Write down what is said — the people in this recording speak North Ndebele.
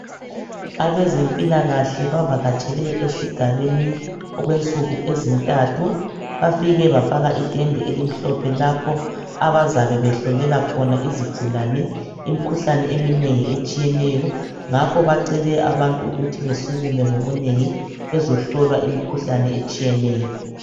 Abezempilakahle bavaketshele esigabeni okwensuku ezintathu bafike bafaka itende elimhophe lapho abazabe behlolela khona izigulane imkhuhlane eminengi etshiyeneyo ngakho bacele abantu ukuthi besukume ngobunengi bezohlolwa imikhuhlane eminengi etshiyeneyo